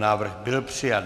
Návrh byl přijat.